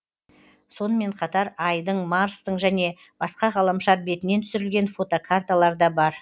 сонымен қатар айдың марстың және басқа ғаламшар бетінен түсірілген фотокарталар да бар